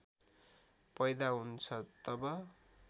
पैदा हुन्छ तब